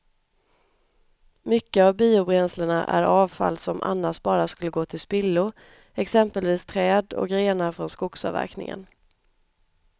Mycket av biobränslena är avfall som annars bara skulle gå till spillo, exempelvis träd och grenar från skogsavverkningen.